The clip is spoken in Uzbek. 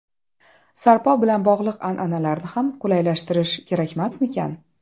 Sarpo bilan bog‘liq an’analarni ham qulaylashtirish kerakmasmikan?